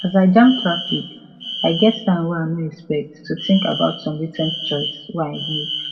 as i jam traffic i get time wey i no expect to think about some recent choice wey i make